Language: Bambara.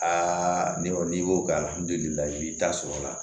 Aa ne kɔni n'i ko k'ayi i b'i ta sɔrɔ a la